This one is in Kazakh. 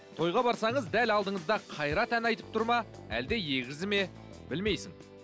тойға барсаңыз дәл алдыңызда қайрат ән айтып тұр ма әлде егізі ме білмейсің